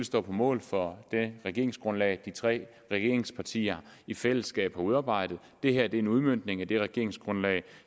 står på mål for det regeringsgrundlag de tre regeringspartier i fællesskab har udarbejdet det her er en udmøntning af det regeringsgrundlag